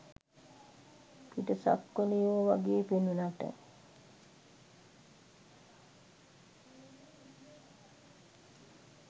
පිටසක්වලයෝ වගේ පෙනුනට